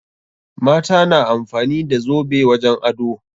Mata na amfani da zobe wajen ado.